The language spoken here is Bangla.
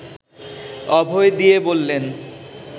অভয় দিয়ে বললেন